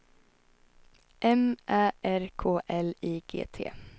M Ä R K L I G T